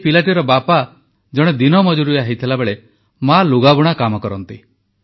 ଏଇ ପିଲାଟିର ବାପା ଜଣେ ଦିନମଜୁରିଆ ହୋଇଥିବାବେଳେ ମା ଲୁଗାବୁଣା କାମ କରନ୍ତି